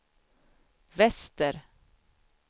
väster